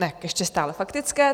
Ne, ještě stále faktické.